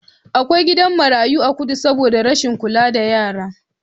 Akwai gidan marayu a kudu saboda rashin kula da yara.